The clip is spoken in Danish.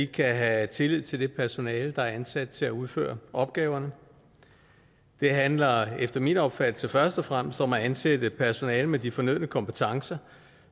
kan have tillid til det personale der er ansat til at udføre opgaverne det handler efter min opfattelse først og fremmest om at ansætte personale med de fornødne kompetencer